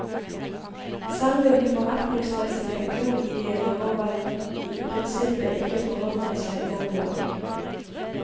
Selve de forretningsmessige grunnideene har vel i prinsippet ikke forandret seg nevneverdig.